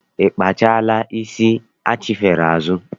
I kpaala isi achifere azụ?